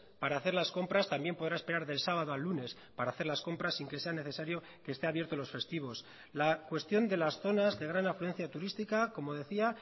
para hacer las compras también podrá esperar del sábado al lunes para hacer las compras sin que sea necesario que este abierto los festivos la cuestión de las zonas de gran afluencia turística como decía